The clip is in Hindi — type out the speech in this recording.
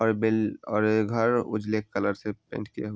हर बिल और ये घर उजले कलर से पेंट किया हुआ।